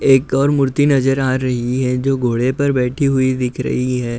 एक और मूर्ति नजर आ रही है जो घोड़े पर बैठी हुई दिख रही है।